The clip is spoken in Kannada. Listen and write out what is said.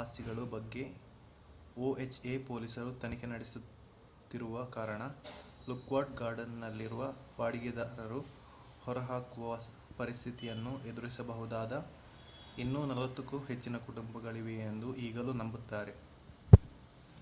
ಆಸ್ತಿಗಳ ಬಗ್ಗೆ ಒಎಚ್‌ಎ ಪೊಲೀಸರು ತನಿಖೆ ನಡೆಸುತ್ತಿರುವ ಕಾರಣ ಲಾಕ್ವುಡ್ ಗಾರ್ಡನ್‌ನಲ್ಲಿರುವ ಬಾಡಿಗೆದಾರರು ಹೊರಹಾಕುವ ಪರಿಸ್ಥಿತಿಯನ್ನು ಎದುರಿಸಬಹುದಾದ ಇನ್ನೂ 40 ಕ್ಕೂ ಹೆಚ್ಚಿನ ಕುಟುಂಬಗಳಿವೆಯೆಂದು ಈಗಲೂ ನಂಬುತ್ತಾರೆ